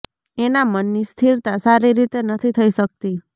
એના મનની સ્થિરતા સારી રીતે નથી થઈ શકતી